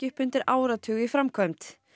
upp undir áratug í framkvæmd